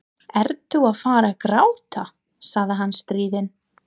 Ertu að fara að gráta? sagði hann stríðinn.